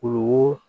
Kulukoro